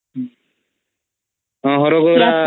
ହଁ ହରଗୌରା